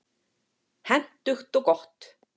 Hentugt og gott.